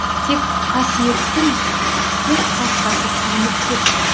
тек қасиеттің көкқасқасы сүрініп кетті